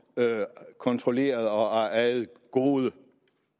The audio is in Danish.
kontrolleret og ejet gode